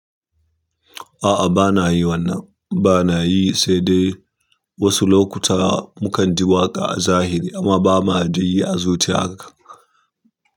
A'a bana yin wannan, bana yi sai dai wasu lokuta mukan ji waƙa a zahiri amma ba ma dai yi a zuciya haka.